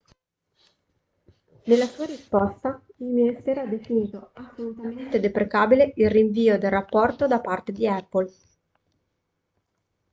nella sua risposta il ministero ha definito assolutamente deprecabile il rinvio del rapporto da parte di apple